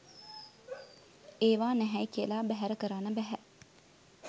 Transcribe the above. ඒවා නැහැයි කියලා බැහැර කරන්න බැහැ